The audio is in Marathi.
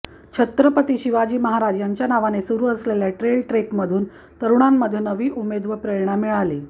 छत्रपती शिवाजी महाराज यांच्या नावाने सुरू असलेल्या ट्रेल ट्रेकमधून तरुणांमध्ये नवी उमेद व प्रेरणा मिळेल